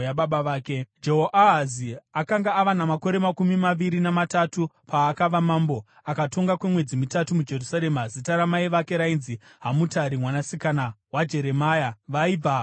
Jehoahazi akanga ava namakore makumi maviri namatatu paakava mambo, akatonga kwemwedzi mitatu muJerusarema. Zita ramai vake rainzi Hamutari mwanasikana waJeremia, vaibva kuRibhina.